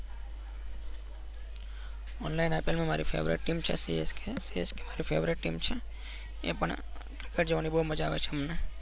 online ipl માં મારી favourite team છે. csk csk મારી favorite એ પણ જોવા ની બાઉ મઝા આવે છે અમને.